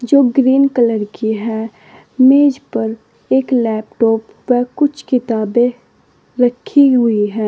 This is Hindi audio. जो ग्रीन कलर की है मेज पर एक लैपटॉप पर कुछ किताबें रखी हुई हैं।